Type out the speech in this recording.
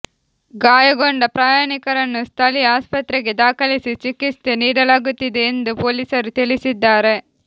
ಗಾಯಗೊಂಡ ಪ್ರಯಾಣಿಕರನ್ನು ಸ್ಥಳೀಯ ಆಸ್ಪತ್ರೆಗೆ ದಾಖಲಿಸಿ ಚಿಕಿತ್ಸೆ ನೀಡಲಾಗುತ್ತಿದೆ ಎಂದು ಪೊಲೀಸರು ತಿಳಿಸಿದ್ದಾರೆ